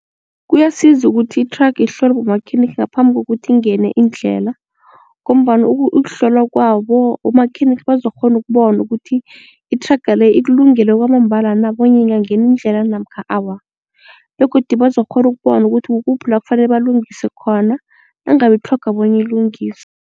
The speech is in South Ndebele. Kuyasiza ukuthi ithraga ihlolwe bomakhenikha ngaphambi kokuthi ingene indlela ngombana ukuhlolwa kwabo umakhenikha bazokukghona ukubona ukuthi ithraga le ikulungele kwamambala na bonya ingangena indlela le namkha awa. Begodu bazokukghona ukubona ukuthi kukuphi la kufanele balungise khona nangabe itlhoga bona ilungiswe.